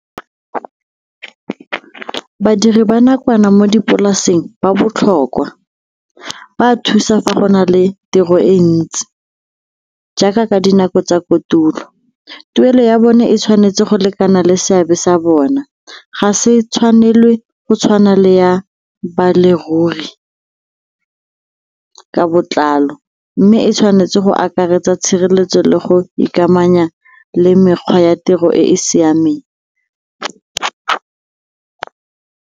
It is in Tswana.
Badiri ba nakwana mo dipolaseng ba botlhokwa, ba a thusa fa go na le tiro e ntsi jaaka ka dinako tsa kotulo. Tuelo ya bone e tshwanetse go lekana le seabe sa bona, ga se tshwanelwe ke go tshwana le ya ka botlalo mme e tshwanetse go akaretsa tshireletso le go ikamanya le mekgwa ya tiro e e siameng.